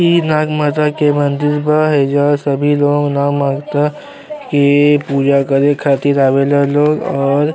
ई नागमाता के मंदिर बा। हईजा सभी लोग नागमाता के पूजा करे खातिर आवेला लोग और --